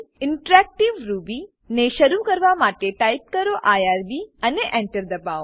interactive Ruby interactive Ruby ને શરુ કરવા માટે ટાઈપ કરો આઇઆરબી અને Enter એન્ટર દબાવો